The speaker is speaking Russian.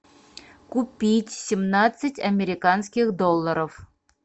купить семнадцать американских долларов